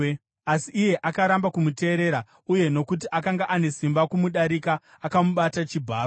Asi iye akaramba kumuteerera, uye nokuti akanga ane simba kumudarika, akamubata chibharo.